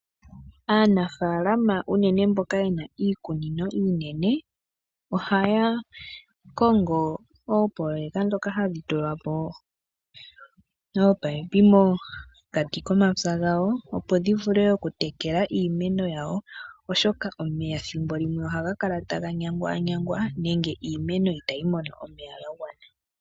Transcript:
Aanafalama uunene mboka yena iikunino iinene ohaya kongo oopoloyeka ndhoka hadhi tula po oopaipi mokati komapya gawo opo dhi vule okutekela iimeno yawo oshoka omeya ethimbo limwe ohaga kala taga nyangwanyangwa nenge iimeno itayi mono omeya ga gwana.